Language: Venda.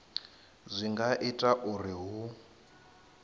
zwi nga ita uri hu